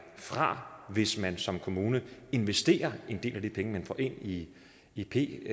fra hvis man som kommune investerer en del af de penge man får ind i i p